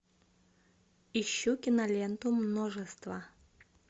ищу киноленту множество